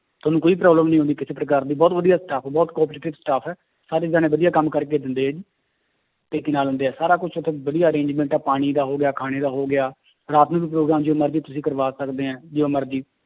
ਤੁਹਾਨੂੰ ਕੋਈ problem ਨੀ ਹੋਊਗੀ ਕਿਸੇ ਪ੍ਰਕਾਰ ਦੀ ਬਹੁਤ ਵਧੀਆ staff ਹੈ ਬਹੁਤ cooperative staff ਹੈ, ਸਾਰੇ ਜਾਣੇ ਵਧੀਆ ਕੰਮ ਕਰਕੇ ਦਿੰਦੇ ਹੈ ਤੇ ਕੀ ਨਾਂ ਲੈਂਦੇ ਹੈ ਸਾਰਾ ਕੁਛ ਉੱਥੇ ਵਧੀਆ arrangement ਹੈ ਪਾਣੀ ਦਾ ਹੋ ਗਿਆ ਖਾਣੇ ਦਾ ਹੋ ਗਿਆ ਰਾਤ ਨੂੰ ਵੀ ਪ੍ਰੋਗਰਾਮ ਜਦੋਂ ਮਰਜ਼ੀ ਤੁਸੀਂ ਕਰਵਾ ਸਕਦੇ ਹੈ, ਜਦੋਂ ਮਰਜ਼ੀ